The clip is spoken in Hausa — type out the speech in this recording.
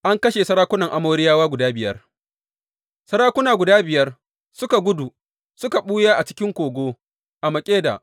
An kashe sarakunan Amoriyawa guda biyar Sarakunan guda biyar suka gudu, suka ɓuya a cikin kogo a Makkeda.